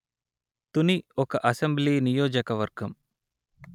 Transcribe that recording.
తుని ఒక అసెంబ్లీ నియోజక వర్గం